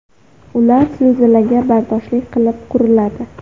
Ular zilzilaga bardoshli qilib quriladi.